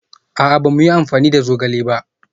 A'a, ba mu yi amfani da zogale ba